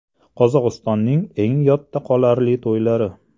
Qozog‘istonning eng yodda qolarli to‘ylari .